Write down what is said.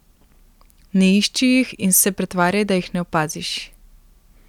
Ne išči jih in se pretvarjaj, da jih ne opaziš.